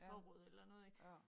Forråd eller noget ik